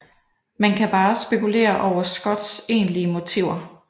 Man kan bare spekulere over Scotts egentlige motiver